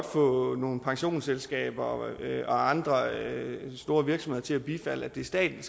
få nogle pensionsselskaber og andre store virksomheder til at bifalde at det er staten